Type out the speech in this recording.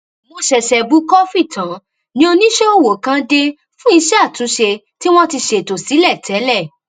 mo ṣèṣè bu kọfí tán ni oníṣéọwọ kan dé fún iṣé àtúnṣe tí wón ti ṣètò sílẹ tẹlẹ